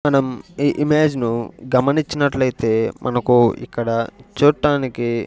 మనం ఈ ఇమేజ్ ను గమనించనట్లయితే మనకు ఇక్కడ చూట్టానికి --